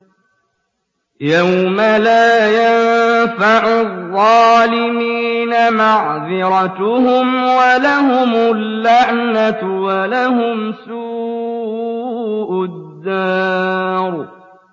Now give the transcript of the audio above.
يَوْمَ لَا يَنفَعُ الظَّالِمِينَ مَعْذِرَتُهُمْ ۖ وَلَهُمُ اللَّعْنَةُ وَلَهُمْ سُوءُ الدَّارِ